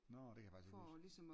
Nåh det kan jeg faktisk ikke lige huske